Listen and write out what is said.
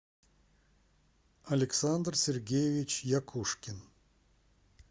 александр сергеевич якушкин